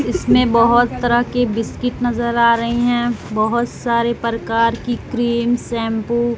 इसमें बहोत तरह के बिस्किट नजर आ रही हैं बहोत सारे प्रकार की क्रीम शैंपू --